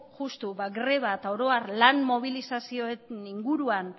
justu ba greba eta oro har lan mobilizazioen inguruan